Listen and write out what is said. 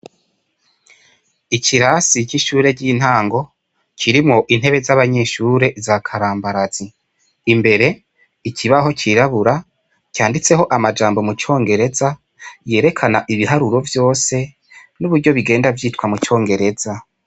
Ikirasi c'ishure ry'intango kirimwo intebe z'abanyeshure za karambarazi. Imbere, ikibaho cirabura canditseko amajambo mu congereza yerekana ibiharuro vyose, n'uburyo bigenda vyitwa mu congereza.